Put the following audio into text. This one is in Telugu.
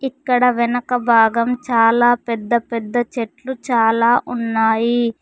ఇక్కడ వెనక భాగం చాలా పెద్ద పెద్ద చెట్లు చాలా ఉన్నాయి.